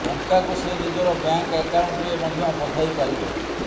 ଟଙ୍କାକୁ ସେ ନିଜର ବ୍ୟାଙ୍କ ଆକାଉଣ୍ଟରେ ମଧ୍ୟ ପଠାଇ ପାରିବେ